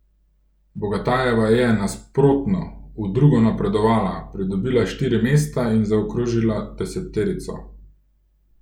Bogatajeva je, nasprotno, v drugo napredovala, pridobila štiri mesta in zaokrožila deseterico.